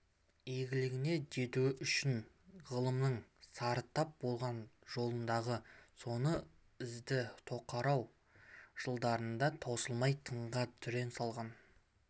игілігіне жетуі үшін ғылымның сарытап болған жолындағы соны ізді тоқырау жылдарында тосылмай тыңға түрен салған